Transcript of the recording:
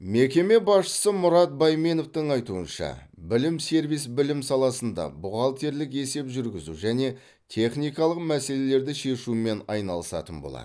мекеме басшысы мұрат байменовтің айтуынша білім сервис білім саласында бухгалтерлік есеп жүргізу және техникалық мәселелерді шешумен айналысатын болады